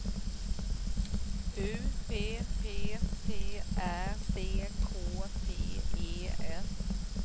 U P P T Ä C K T E S